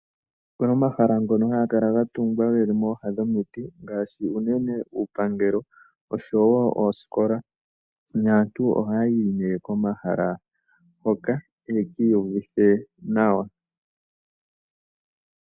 Opuna omahala ngono haga kala ga tungwa geli mooha dhomiti ngaashi unene uupangelo oshowo oosikola, naantu ohaya yi nee komahala hoka yake iyuvithe nawa.